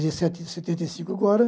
Vai fazer se setenta e cinco agora.